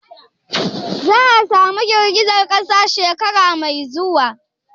Za'a samu girgizar kasa shekara mai zuwa?